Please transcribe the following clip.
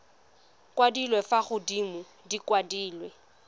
kwadilwe fa godimo di kwadilwe